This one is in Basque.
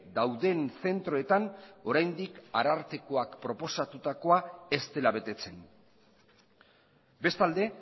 dauden zentroetan oraindik arartekoak proposatutakoa ez dela betetzen bestalde